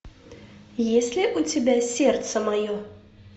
есть ли у тебя сердце мое